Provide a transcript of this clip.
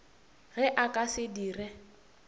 ge a ka se dire